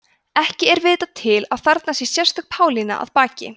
ekki er vitað til að þarna sé sérstök pálína að baki